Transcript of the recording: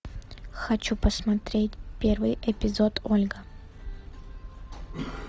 хочу посмотреть первый эпизод ольга